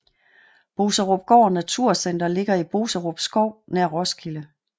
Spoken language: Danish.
Boserupgård Naturcenter ligger i Boserup Skov nær Roskilde